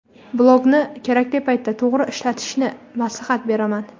blogni kerakli paytda to‘g‘ri ishlatishni maslahat beraman.